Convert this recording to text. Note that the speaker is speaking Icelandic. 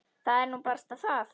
Það er nú barasta það.